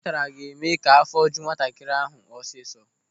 Ụtara ga-eme ka afọ ju nwatakịrị ahụ ọsịsọ.